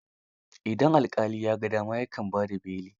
Idan alƙali ya ga dama, ya kan ba da beli.